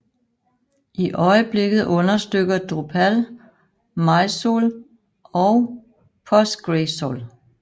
I øjeblikket understøtter Drupal MySQL og PostgreSQL